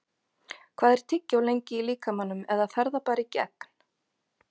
Hvað er tyggjó lengi í líkamanum eða fer það bara í gegn?